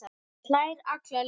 Hann hlær alla leið